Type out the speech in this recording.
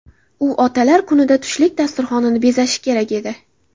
U Otalar kunida tushlik dasturxonini bezashi kerak edi.